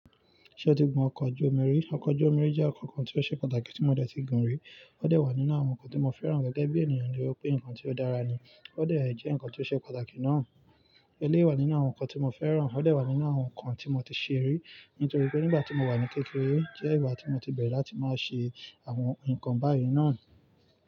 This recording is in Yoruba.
Ṣé o ti gun ọkọ̀ ojú omi rí? Ọkọ̀ ojú omi jẹ́ ọkọ̀ kan tí ó ṣe pàtàkì tí mo dẹ̀ tí ì gun rí. Ó de wà nínú àwọn nǹkan tí mo fẹ́ràn gẹ́gẹ́ bí ènìyàn to ri pé ǹkan tí ó dára ni. Ó dẹ́ jẹ́ ǹkan tí ó ṣe pàtàkì náà. Eléwà nínú àwọn ǹkan tí mo fẹ́ràn. Ó dà wà nínú àwọn ǹkan tí mo ti ṣe rí, nítorí pé nígbà tí mo wà ní kékeré jẹ́ ìgbà tí mo ti bẹ̀rẹ̀ láti máa ṣe àwọn ǹkan báyìí náà.